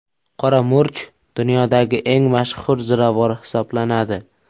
Qora murch dunyodagi eng mashhur ziravor hisoblanadi.